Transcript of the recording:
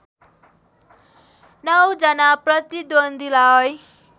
नौ जना प्रतिद्वन्द्वीलाई